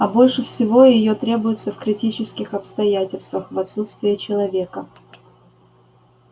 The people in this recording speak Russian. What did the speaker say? а больше всего её требуется в критических обстоятельствах в отсутствие человека